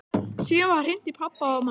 Síðan var hringt í pabba og mömmu.